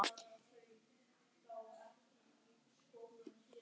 Linda Hrönn.